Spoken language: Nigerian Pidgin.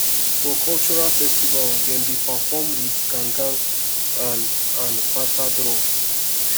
for cultural festival dem dey perform wit gangan and and bata drum